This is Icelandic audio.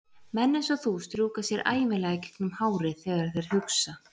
Menn einsog þú strjúka sér ævinlega gegnum hárið þegar þeir hugsa.